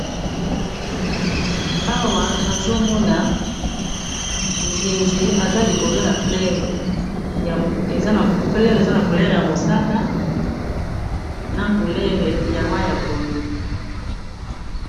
Awa nazomona nzizi eza likolo ya fleur aza na couleur yalangi yamosaka na couleur yamayi yapondu